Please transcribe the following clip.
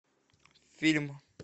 фильм